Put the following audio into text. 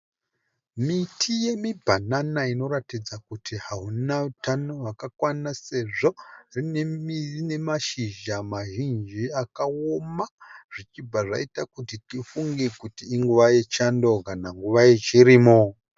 Miti yemibhanana inoratidza kuti hauna utano hwakakwana sezvo iine mashizha mazhinji akaoma zvichibva zvaita tifunge kuti inguva yechando kana nguva yechirimo .